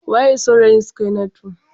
Waye saurayin Sukainatu?